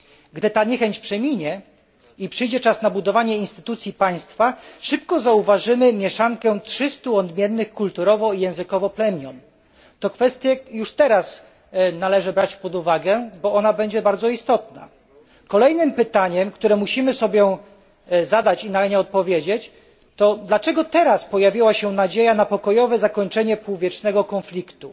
Gdy ta niechęć przeminie i przyjdzie czas na budowanie instytucji państwa, szybko zauważymy mieszankę trzystu odmiennych kulturowo i językowo plemion. Tę kwestię już teraz należy brać pod uwagę, bo ona będzie bardzo istotna. Kolejne pytanie, które musimy sobie zadać i na nie odpowiedzieć, brzmi dlaczego teraz pojawiła się nadzieja na pokojowe zakończenie półwiecznego konfliktu.